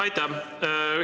Aitäh!